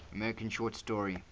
american short story